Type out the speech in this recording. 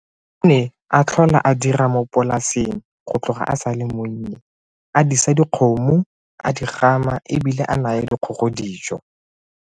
O ne a tlhola a dira mo polaseng go tloga a sa le monnye, a disa dikgomo, a di gama e bile a naya dikgogo dijo.